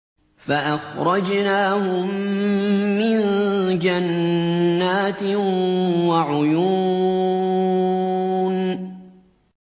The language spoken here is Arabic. فَأَخْرَجْنَاهُم مِّن جَنَّاتٍ وَعُيُونٍ